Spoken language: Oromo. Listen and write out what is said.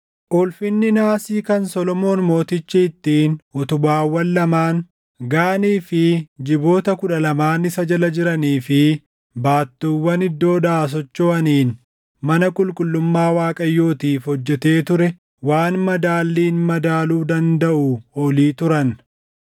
Ulfinni naasii kan Solomoon Mootichi ittiin utubaawwan lamaan, Gaanii fi jiboota kudha lamaan isa jala jiranii fi baattuuwwan iddoodhaa sochoʼaniin mana qulqullummaa Waaqayyootiif hojjetee ture waan madaalliin madaaluu dandaʼuu oli turan.